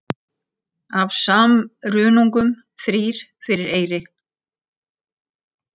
Af sumrungum þrír fyrir eyri.